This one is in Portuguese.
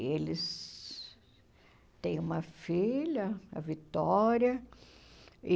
Eles têm uma filha, a Vitória, e...